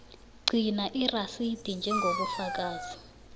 gcina irasidi njengobufakazi